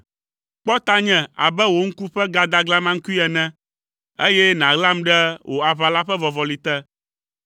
Kpɔ tanye abe wò ŋku ƒe gadaglamakui ene, eye nàɣlam ɖe wò aʋala ƒe vɔvɔli te,